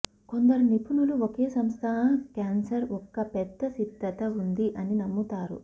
కొందరు నిపుణులు ఒకే సంస్థ క్యాన్సర్ ఒక పెద్ద సిద్ధత ఉంది అని నమ్ముతారు